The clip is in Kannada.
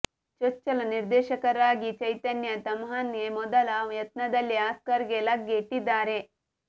ಚೊಚ್ಚಲ ನಿರ್ದೇಶಕರಾಗಿ ಚೈತನ್ಯ ತಮ್ಹಾನೆ ಮೊದಲ ಯತ್ನದಲ್ಲೇ ಆಸ್ಕರ್ ಗೆ ಲಗ್ಗೆ ಇಟ್ಟಿದ್ದಾರೆ